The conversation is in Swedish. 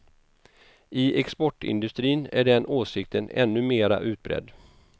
I exportindustrin är den åsikten ännu mera utbredd.